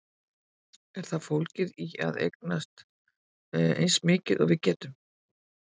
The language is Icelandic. Er það fólgið í að eignast eins mikið og við getum?